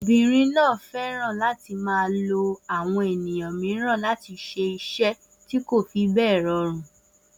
Obìnrin náà fẹ́ràn láti máa lo àwọn ènìyàn mìíràn láti ṣe iṣẹ́ tí kò fi bẹ́ẹ̀ ṣiṣẹ́.